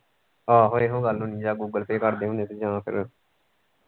ਆਹੋ ਇਹੋ ਗੱਲ ਹੋਣੀ ਜਾਂ google pay ਕਰਦੇ ਹੁਣੇ ਜਾਂ ਫਿਰ।